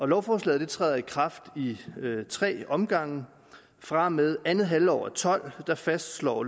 lovforslaget træder i kraft i tre omgange fra og med andet halvår og tolv fastslår